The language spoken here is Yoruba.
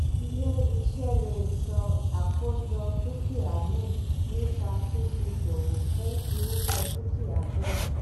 ilé iṣẹ́ lè sọ àkójọ dúkìá nù nípa fífiṣowò fún irúfẹ́ dúkìá bẹ́ẹ̀.